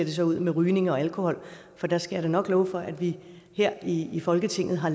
ser ud med rygning og alkohol for der skal jeg da nok love for at vi her i folketinget har